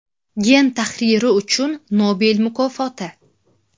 Gen tahriri uchun Nobel mukofoti.